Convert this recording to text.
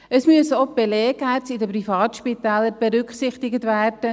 Auch die Belegärzte in den Privatspitälern müssen berücksichtigt werden.